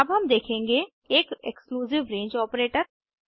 अब हम देखेंगे एक एक्सक्लूसिव रंगे ऑपरेटर